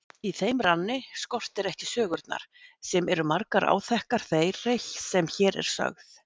Í þeim ranni skortir ekki sögurnar sem eru margar áþekkar þeirri sem hér er sögð.